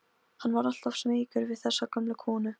Hann var alltaf smeykur við þessa gömlu konu.